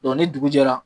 ni dugu jɛra